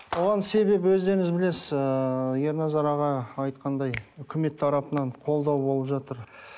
оған себеп өздеріңіз білесіз ыыы ерназар аға айтқандай үкімет тарапынан қолдау болып жатыр